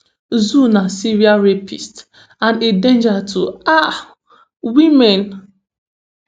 zou na serial rapist and a danger to um women